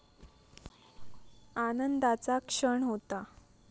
आनंदाचा क्षण होता.